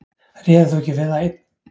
Réðir þú ekki við það einn?